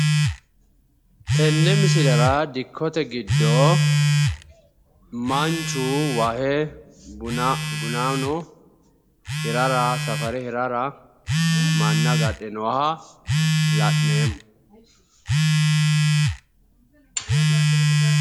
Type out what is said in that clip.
Tenne misilera dikkote giddo manchu wahe bunano safare hirara manna agadhe nooha la'neemmo.